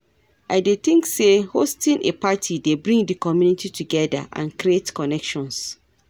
I dey think say hosting a party dey bring di community together and create connections.